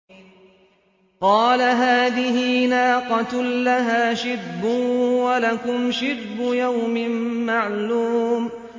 قَالَ هَٰذِهِ نَاقَةٌ لَّهَا شِرْبٌ وَلَكُمْ شِرْبُ يَوْمٍ مَّعْلُومٍ